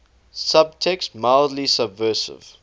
subtext mildly subversive